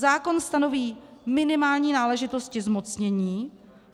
Zákon stanoví minimální náležitosti zmocnění.